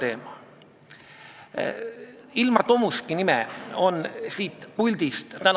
Eelnõu kvaliteet on muidugi suhteliselt piinlik, aga ma küsisin ettekandjalt teiste Euroopa riikide praktika kohta sellistes olukordades.